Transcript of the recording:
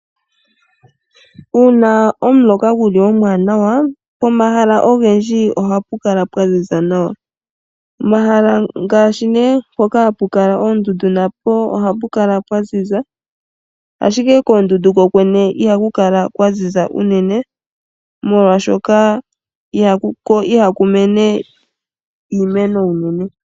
Uuna omuloka guli omwaanawa, pomahala oha pu kala pwa ziza nawa. Omahala ngaashi ne mpoka hapu kala oondundu napo ohapu kala pwa ziza, ashike koondundu kokwene iha ku kala kwaziza unene molwaashoka ihaku mene iimeno iinene.